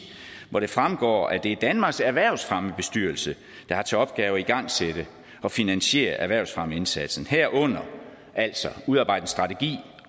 hvor det fremgår at det er danmarks erhvervsfremmebestyrelse der har til opgave at igangsætte og finansiere erhvervsfremmeindsatsen herunder altså at udarbejde en strategi